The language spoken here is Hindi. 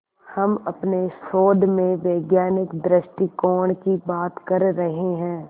हम अपने शोध में वैज्ञानिक दृष्टिकोण की बात कर रहे हैं